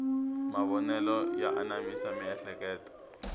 mavonelo ya anamisa miehleketo